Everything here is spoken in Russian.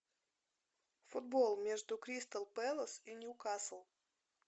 футбол между кристал пэлас и ньюкасл